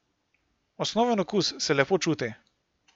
Osnoven okus se lepo čuti.